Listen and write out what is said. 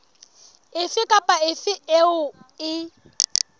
efe kapa efe eo e